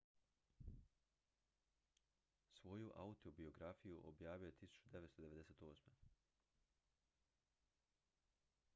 svoju autobiografiju objavio je 1998